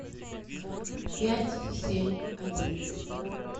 пять семь один